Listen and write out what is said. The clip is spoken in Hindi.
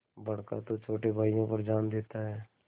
बड़का तो छोटे भाइयों पर जान देता हैं